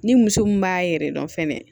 Ni muso mun b'a yɛrɛ dɔn fɛnɛ